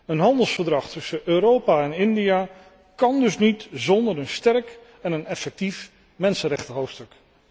Een handelsovereenkomst tussen Europa en India kan dus niet zonder een sterk en een effectief mensenrechtenhoofdstuk.